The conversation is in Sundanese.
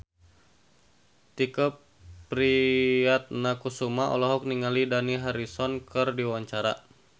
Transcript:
Tike Priatnakusuma olohok ningali Dani Harrison keur diwawancara